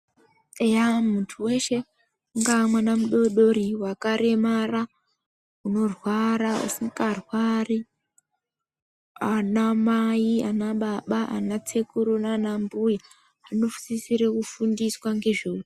Eya unga muntu weshe, ungaamwana mudodori, wakaremara, unorwara, usikarwari, anamai nanababa, anasekuru nanambuya, anosisire kufundiswa ngezveutano.